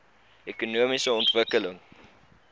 ekonomiese ontwikkeling